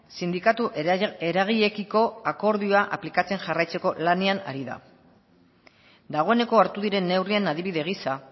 sindikatu eragileekiko akordioa aplikatzen jarraitzeko lanean ari da dagoeneko hartu diren neurrian adibide gisa